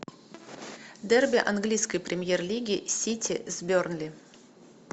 дерби английской премьер лиги сити с бернли